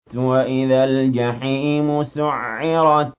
وَإِذَا الْجَحِيمُ سُعِّرَتْ